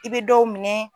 I bɛ dɔw minɛ